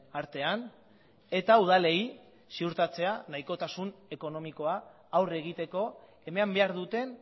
artean eta udalei ziurtatzea nahikotasun ekonomikoa aurre egiteko eman behar duten